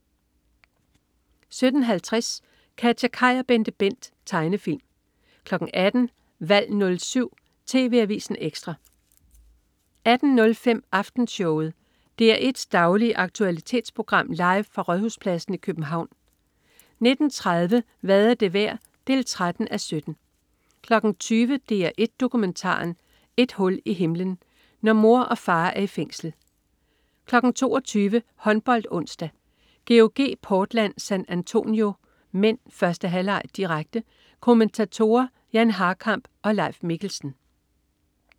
17.50 KatjaKaj og BenteBent. Tegnefilm 18.00 Valg 07. TV Avisen Ekstra 18.05 Aftenshowet. DR1's daglige aktualitetsprogram, live fra Rådhuspladsen i København 19.30 Hvad er det værd? 13:17 20.00 DR1 Dokumentaren. Et hul i himlen. Når mor og far er i fængsel 22.00 HåndboldOnsdag: GOG-Portland San Antonio (m). 1. halvleg, direkte. Kommentatorer: Jan Harkamp og Leif Mikkelsen